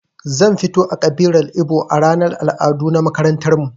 Zan fito a ƙabilar ibo a ranar al'adu na makarantarmu